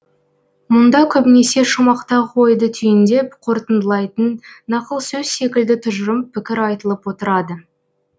мұнда көбінесе шумақтағы ойды түйіндеп қорытындылайтын нақыл сөз секілді тұжырым пікір айтылып отырады